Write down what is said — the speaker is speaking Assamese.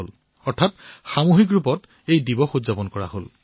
আনকি ইয়াক সামূহিক ৰূপত উদযাপনো কৰা হৈছে